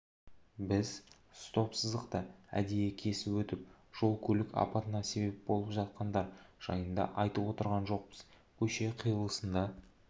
біз стоп-сызықты әдейі кесіп өтіп жол-көлік апатына себеп болып жатқандар жайында айтып отырған жоқпыз көше қиылысында